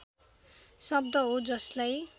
शब्द हो जसलाई